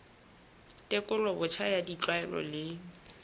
tekolo botjha ya ditlwaelo le